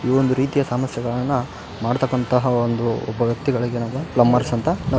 ಈ ಒಂದು ರೀತಿಯ ಸಮಸ್ಯೆಗಳನ ಮಾಡ್ತಕಂತಹ ಒಂದು ಒಬ್ಬ ವ್ಯಕ್ತಿಗಳಿಗೆ ಪ್ಲಂಬರ್ಸ್ ಅಂತ ನ --